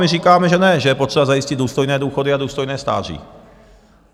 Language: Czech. My říkáme, že ne, že je potřeba zajistit důstojné důchody a důstojné stáří.